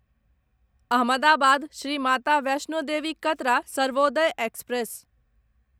Ahmedabad Shri Mata Vaishno Devi Katra Sarvodaya express